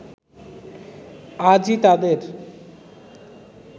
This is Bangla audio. আজই তাদের